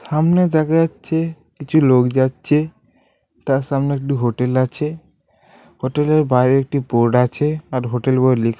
সামনে দেখা যাচ্ছে কিছু লোক যাচ্ছে তার সামনে একটি হোটেল আছে হোটেলের বাইরে একটি বোর্ড আছে আর হোটেল বলে লিখ--